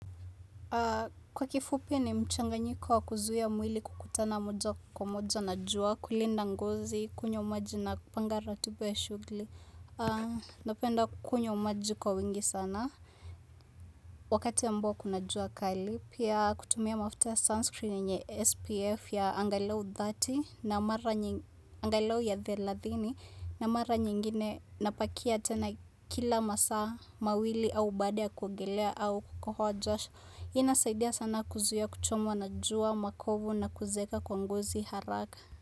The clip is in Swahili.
Kwa kifupi ni mchanganyiko wa kuzuia mwili kukutana moja kwa moja na jua kulinda ngozi kunywa maji na kupanga ratiba ya shughli napenda kukunywa maji kwa wingi sana Wakati amboa kuna jua kali pia kutumia mafuta ya sunscreen yenye SPF ya angalau dhati na mara nyingi angalau ya dheladhini na mara nyingine napakia tena kila masa mawili au baada ya kuongelea au kukohoa jasho inasaidia sana kuzuia kuchomwa na jua, makovu na kuzeeka kwa ngozi haraka.